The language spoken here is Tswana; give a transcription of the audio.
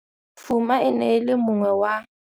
Fuma e ne e le mongwe wa.